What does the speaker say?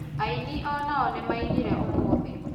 Ainĩ onao nĩ mainire ũmũthĩ